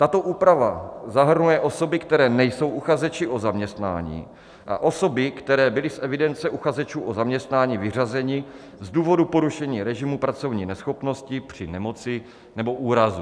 Tato úprava zahrnuje osoby, které nejsou uchazeči o zaměstnání, a osoby, které byly z evidence uchazečů o zaměstnání vyřazeny z důvodu porušení režimu pracovní neschopnosti při nemoci nebo úrazu.